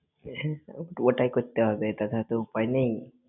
পুরোটাই করতে হবে, তাছাড়া তো উপায় নেই।